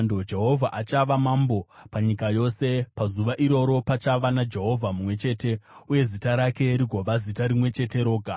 Jehovha achava mambo panyika yose. Pazuva iroro pachava naJehovha mumwe chete, uye zita rake rigova zita rimwe chete roga.